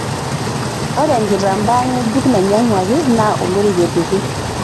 Ore enkitambaa ng'ejuk nainyang'uaki naa olorika epiki.